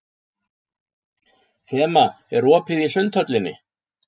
Fema, er opið í Sundhöllinni?